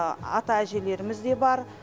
ата әжелеріміз де бар